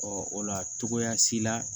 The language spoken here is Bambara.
o la togoya si la